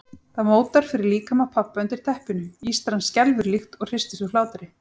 Það mótar fyrir líkama pabba undir teppinu, ístran skelfur líkt og hristist úr hlátri.